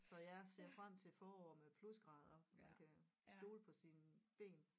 Så jeg ser frem til et forår med plusgrader hvor man kan stole på sine ben